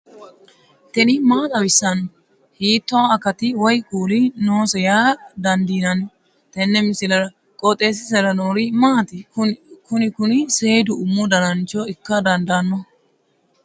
tini maa xawissanno ? hiitto akati woy kuuli noose yaa dandiinanni tenne misilera? qooxeessisera noori maati? kuni kuni seedu umu danancho ikka dandaanno